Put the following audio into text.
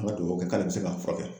An ka dubawu kɛ k'ale bɛ se k'a furakɛ.